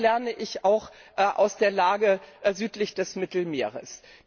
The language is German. Was lerne ich auch aus der Lage südlich des Mittelmeers?